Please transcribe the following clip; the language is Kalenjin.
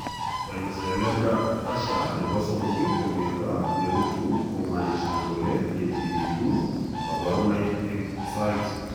Spinocerebellar ataxia nebo somok ko miondo neruutu komanishan kole yochegitu kaborunoik eng' saait